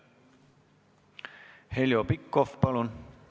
Heljo Pikhof, palun!